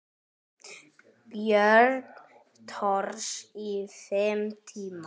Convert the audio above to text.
Björn Thors: Í fimm tíma?